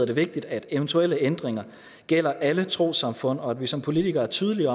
det vigtigt at eventuelle ændringer gælder alle trossamfund og at vi som politikere er tydelige